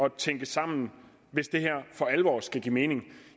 at tænke sammen hvis det her for alvor skal give mening